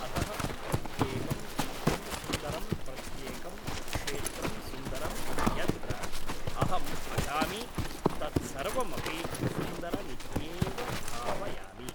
अतः प्रत्येकं चित्रं सुन्दरं प्रत्येकं क्षेत्रं सुन्दरं यत्र अहम् अटामि तत्सर्वमपि सुन्दरमित्येव भावयामि